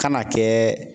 Kan'a kɛ